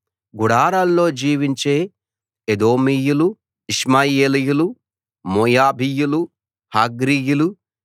గుడారాల్లో జీవించే ఎదోమీయులు ఇష్మాయేలీయులు మోయాబీయులు హగ్రీయీలు